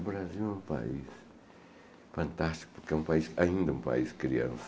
O Brasil é um país fantástico, porque é ainda um país criança.